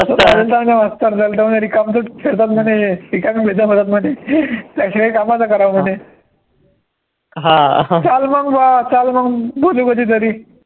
मास्तर रिकाम खेळतात म्हणे हे रिकामे त्याशिवाय काही कामं तर करा म्हणे हा चाल मंग बा चाल मग मधी मधी तरी